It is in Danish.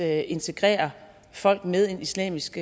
at integrere folk med en islamisk